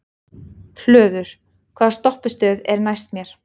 Hlöður, hvaða stoppistöð er næst mér?